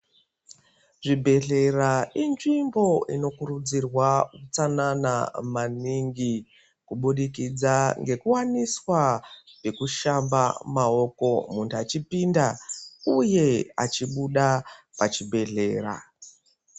Zvibhedhlera inzvimbo inokurudzirwa utsanana maningi. Kubudikidza ngekuwaniswa zvekushamba maoko muntu achipinda, uye achibuda pachibhedhlera.